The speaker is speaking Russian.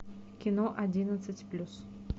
кино одиннадцать плюс